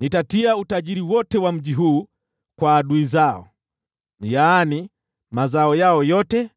Nitatia utajiri wote wa mji huu kwa adui zao: yaani mazao yao yote,